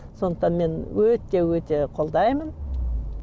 сондықтан мен өте өте қолдаймын